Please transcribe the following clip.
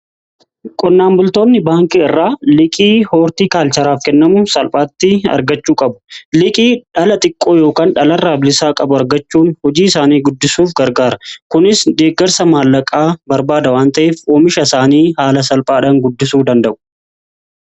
Qonnaan bultoonni baankii irraa liiqii hoortii kaalcharaaf kennamu salphaatti argachuu qabu. Liqii dhala xiqqoo yookaan dhalarraa bilisaa qabu argachuun hojii isaanii guddisuuf gargaara. Kunis deeggarsa maallaqaa barbaada wanta'eef oomisha isaanii haala salphaadhaan guddisuu danda'u.